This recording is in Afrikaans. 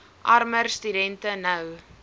armer studente nou